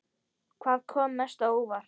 Hvað kom mest á óvart?